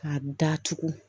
Ka datugu